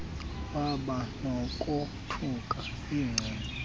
waba nokothuka ecinga